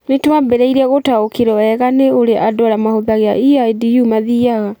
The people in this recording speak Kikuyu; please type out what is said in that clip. Nĩ twambĩrĩirie gũtaũkĩrũo wega nĩ ũrĩa andũ arĩa mahũthagĩra EIDU mathiaga.